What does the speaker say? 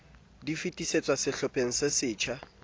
di fetisetswa sehlopheng se setjha